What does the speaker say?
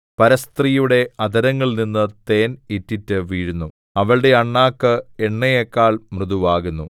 പരസ്ത്രീയുടെ അധരങ്ങളിൽനിന്ന് തേൻ ഇറ്റിറ്റ് വീഴുന്നു അവളുടെ അണ്ണാക്ക് എണ്ണയെക്കാൾ മൃദുവാകുന്നു